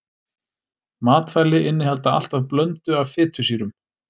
Matvæli innihalda alltaf blöndu af fitusýrum.